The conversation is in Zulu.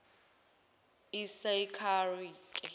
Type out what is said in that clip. isakare